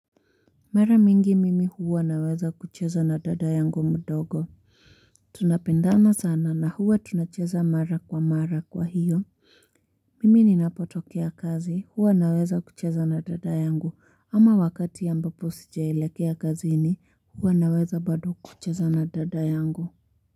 Mara mingi mimi huwa naweza kucheza na dada yangu mdogo. Tunapendana sana na huwa tunacheza mara kwa mara kwa hiyo. Mimi ninapotokea kazi. Huwa naweza kucheza na dada yangu. Ama wakati ambapo sijailekea kazi ni. Hwa naweza bado kucheza na dada yangu.